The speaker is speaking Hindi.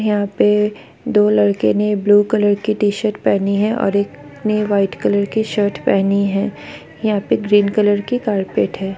यहाँ पे दो लड़के ने ब्लू कलर की टीशर्ट पहनी है और एक ने वाइट कलर की शर्ट पहनी है यहाँ पे ग्रीन कलर के कार्पेट है।